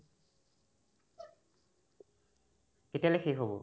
কেতিয়ালে শেষ হ'ব ?